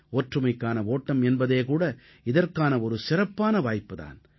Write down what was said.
ஒற்றுமைக்கான ஓட்டம் என்பதே கூட இதற்கான ஒரு சிறப்பான வாய்ப்பு தான்